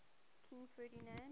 king ferdinand